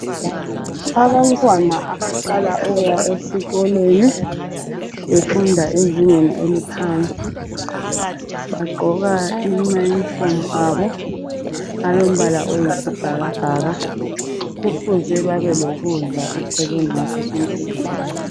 Abantwana abaqala ukuya esikolweni befunda ezingeni eliphansi bagqoka amayunifomu abo alombala oyisibhakabhaka. Kufuze babelokudla eceleni ngaso soke isikhathi.